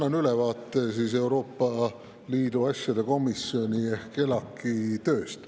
Annan ülevaate Euroopa Liidu asjade komisjoni ehk ELAK‑i tööst.